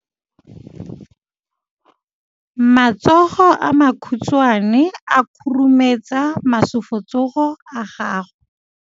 Matsogo a makhutshwane a khurumetsa masufutsogo a gago.